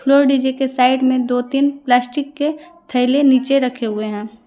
Floor DJ के side में दो तीन प्लास्टिक के थैले नीचे रखे हुए हैं।